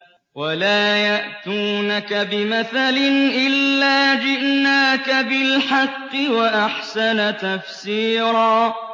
وَلَا يَأْتُونَكَ بِمَثَلٍ إِلَّا جِئْنَاكَ بِالْحَقِّ وَأَحْسَنَ تَفْسِيرًا